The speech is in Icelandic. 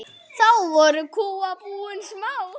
Þá voru kúabúin smá.